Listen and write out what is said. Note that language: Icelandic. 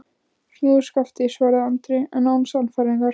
Snúðu skafti, svaraði Andri, en án sannfæringar.